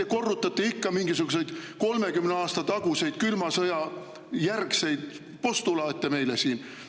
Te korrutate ikka mingisuguseid kolmekümne aasta taguseid külma sõja järgseid postulaate meile siin.